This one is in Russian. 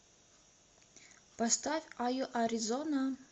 поставь а ю а р и з о н а